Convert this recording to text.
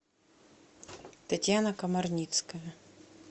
татьяна комарницкая